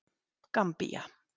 Gambía